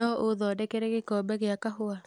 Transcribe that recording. no ũthondekere gĩkombe gĩa kahũa